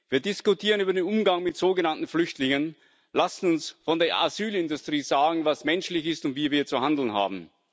Wir diskutieren über den Umgang mit sogenannten Flüchtlingen, lassen uns von der Asylindustrie sagen, was menschlich ist und wie wir zu handeln haben.